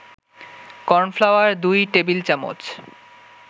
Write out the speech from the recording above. cornflour ২ টেবিল-চামচ